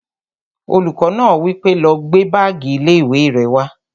Olùkọ́ náà wí pé, "lọ gbé báàgì ilé-ìwé rẹ wá!"